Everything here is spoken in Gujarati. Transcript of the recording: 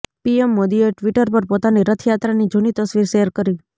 પીએમ મોદીએ ટ્વિટર પર પોતાની રથયાત્રાની જૂની તસવીર શેર કરી